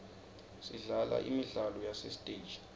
sidlala imidlalo yasesiteji